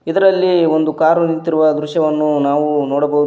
ಇದರಲ್ಲಿ ಬಂದು ಕಾರು ನಿಂತಿರುವ ದೃಶ್ಯವ್ಯನ್ನು ನಾವು ನೋಡಬಹುದು.